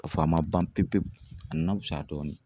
Ka fɔ a ma ban pewu pewu a na wusa dɔɔnin.